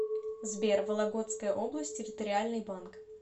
сбер вологодская область территориальный банк